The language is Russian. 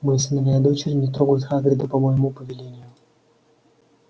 мои сыновья и дочери не трогают хагрида по моему повелению